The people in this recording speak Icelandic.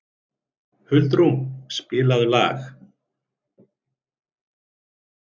Huldrún, spilaðu lag.